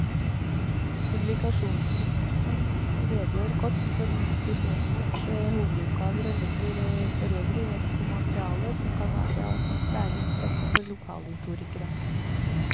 Publikasjonen redegjør kort for institusjonenes hovedoppgaver og legger forøvrig vekt på materiale som kan være av særlig interesse for lokalhistorikere.